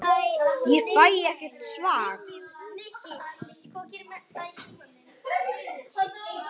Þannig er það í reynd.